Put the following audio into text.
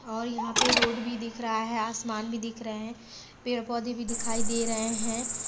और यहाँ पे रोड भी दिख रहा है आसमान भी दिख रहे हैं पेड़ पौधे भी दिखाई दे रहे है।